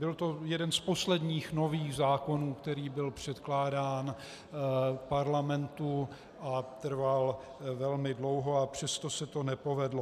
Byl to jeden z posledních nových zákonů, který byl předkládán Parlamentu, a trval velmi dlouho, a přesto se to nepovedlo.